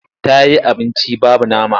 Ta yi abunci babu nama.